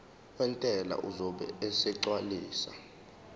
wentela uzobe esegcwalisa